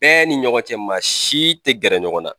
Bɛɛ ni ɲɔgɔn cɛ maa si te gɛrɛ ɲɔgɔn na